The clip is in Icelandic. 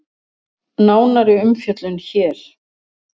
Nánari umfjöllun hér